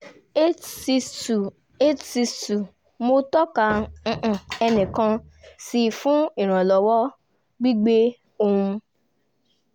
eight sic two eight six two mo tọ́ka ẹnikan sí i fún ìrànlọ́wọ́ gbígbé ohun